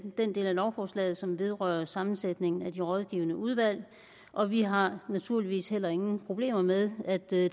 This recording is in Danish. den del af lovforslaget som vedrører sammensætningen af de rådgivende udvalg og vi har naturligvis heller ingen problemer med at der er